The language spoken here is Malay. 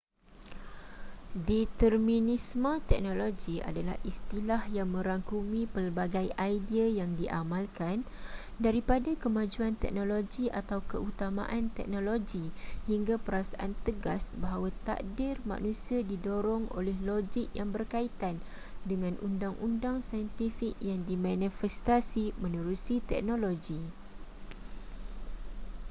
determinisme teknologi adalah istilah yang merangkumi pelbagai idea yang diamalkan daripada kemajuan teknologi atau keutamaan teknologi hingga perasaan tegas bahawa takdir manusia didorong oleh logik yang berkaitan dengan undang-undang saintifik yang dimanifestasi menerusi teknologi